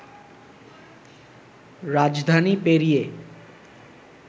রাজধানী পেরিয়ে